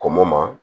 Kɔn mo ma